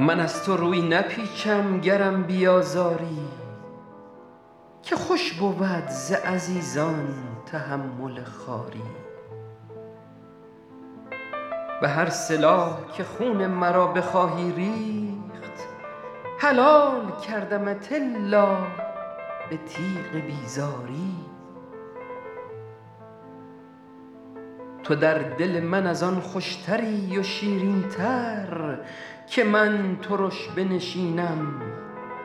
من از تو روی نپیچم گرم بیازاری که خوش بود ز عزیزان تحمل خواری به هر سلاح که خون مرا بخواهی ریخت حلال کردمت الا به تیغ بیزاری تو در دل من از آن خوشتری و شیرین تر که من ترش بنشینم